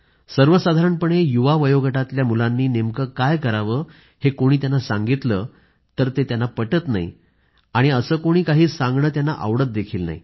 सर्वसाधारणपणे युवा वयोगटातल्या मुलांनी नेमकं काय करावं हे कोणी त्यांना सांगितलं तर ते पटत नाही आणि असं कोणी काही सांगणं त्यांना आवडतही नाही